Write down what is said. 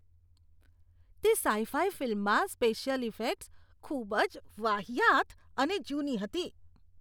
તે sci fi ફિલ્મમાં special effects ખૂબ જ વાહિયાત અને જૂની હતી.